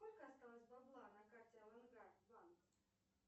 сколько осталось бабла на карте авангард банк